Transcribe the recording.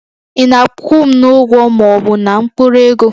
Ị na-akwụ m n'ụgwọ ma ọ bụ na mkpụrụ ego?